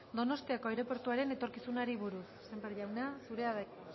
donostiako aireportuaren etorkizunari buruz sémper jauna zurea da hitza